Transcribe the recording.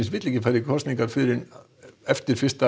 vill ekki fara í kosningar fyrr en eftir fyrsta